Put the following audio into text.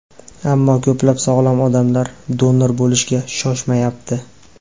Ammo ko‘plab sog‘lom odamlar donor bo‘lishga shoshmayapti.